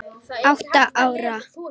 Átta ára.